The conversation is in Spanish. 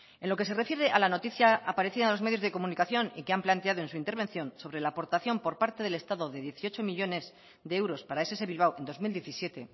en lo que se refiere a la noticia aparecida en los medios de comunicación y que han planteado en su intervención sobre la aportación por parte del estado de dieciocho millónes de euros para ess bilbao en dos mil diecisiete